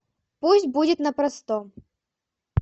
пусть будет на простом